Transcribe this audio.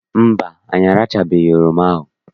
Mba, anyị arachachabeghị oroma ahụ.